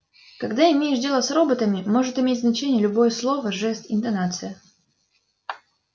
когда имеешь дело с роботами может иметь значение любое слово жест интонация